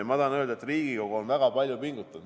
Ja ma tahan öelda, et Riigikogu on väga palju pingutanud.